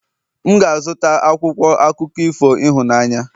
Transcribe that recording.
M ga-azụta akwụkwọ akụkọ ifo ịhụnanya